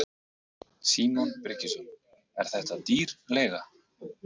Símon Birgisson: Er þetta dýr leiga?